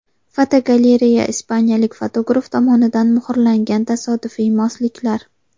Fotogalereya: Ispaniyalik fotograf tomonidan muhrlangan tasodifiy mosliklar.